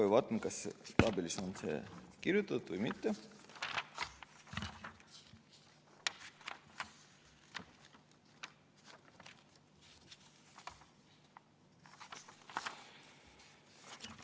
Kohe vaatan, kas tabelis on see kirjas või mitte.